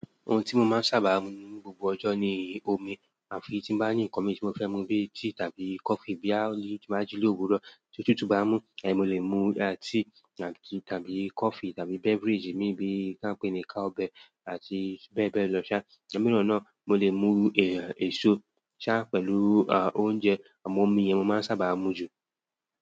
Ohun tí mo máa ń sábà mu ní gbogbo ọjọ́ ni omi àfi tí n bá ní nǹkan mí tí mo fẹ́ mu bíi tea tàbí coffee. Bí yá bí tín bá jí lówurọ̀ tó tútù bá ń mú, mo lè mu tea tàbí coffee tàbí beverage mìí tá ń pè ní cowbell àti bẹ́ẹ̀ bẹ́ẹ̀ lọ. Ṣá, ẹ̀mí náà náà mo lè mu èso ṣá pẹ̀lú oúnjẹ àmọ́ omi yẹn mo máa ń sábà mú jù.